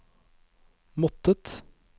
måttet